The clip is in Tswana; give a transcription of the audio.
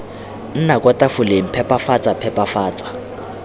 nna kwa tafoleng phepafatsa phepafatsa